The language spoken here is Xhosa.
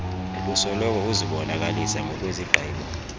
obusoloko uzibonakalisa ngokwezigqibo